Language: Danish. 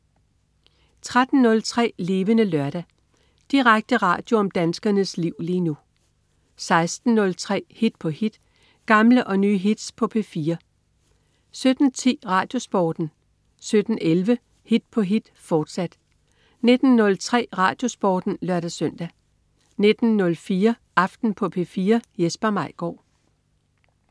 13.03 Levende Lørdag. Direkte radio om danskernes liv lige nu 16.03 Hit på hit. Gamle og nye hits på P4 17.10 RadioSporten 17.11 Hit på hit, fortsat 19.03 RadioSporten (lør-søn) 19.04 Aften på P4. Jesper Maigaard